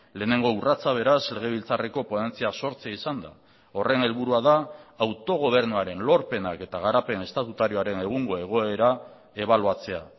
lehenengo urratsa beraz legebiltzarreko ponentzia sortzea izan da horren helburua da autogobernuaren lorpenak eta garapen estatutarioaren egungo egoera ebaluatzea